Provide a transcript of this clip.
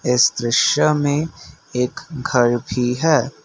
इस दृश्य में एक घर भी है।